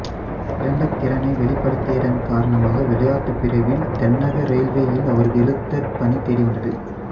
சிறந்த திறனை வெளிப்படுத்தியதன் காரணமாக விளையாட்டு பிரிவில் தென்னக ரெயில்வேயில் அவருக்கு எழுத்தர் பணி தேடிவந்தது